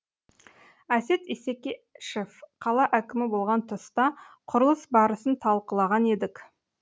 әсет исекешев қала әкімі болған тұста құрылыс барысын талқылаған едік